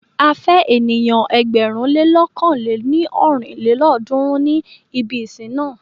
A fẹ́ ènìyàn ẹgbẹ̀rún lé lọ̀kan lé ní ọ́rin lélọ́ọ̀dúnrún ní ibi ìsìn na.